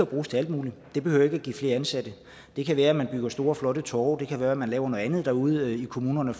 bruges til alt muligt det behøver ikke at give flere ansatte det kan være at man bygger store flotte torve det kan være at man laver noget andet derude i kommunerne